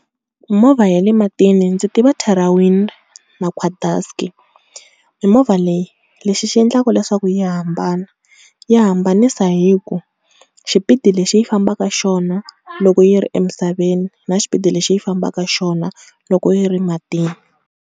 Mimovha ya le matini ndzi tiva mimovha leyi, lexi xi endlaka leswaku yi hambana yi hambanisa hi ku xipidi lexi yi fambaka xona loko yi ri emisaveni na xipidi lexi yi fambaka xona loko yi ri matini.